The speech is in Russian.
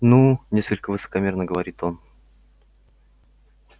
ну несколько высокомерно говорит он